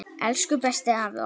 Elsku besti afi okkar.